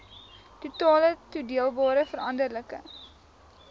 totale toedeelbare veranderlike